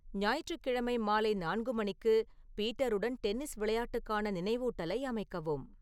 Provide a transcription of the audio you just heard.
ஞாயிற்றுக்கிழமை மாலை நான்கு மணிக்கு பீட்டருடன் டென்னிஸ் விளையாட்டுக்கான நினைவூட்டலை அமைக்கவும்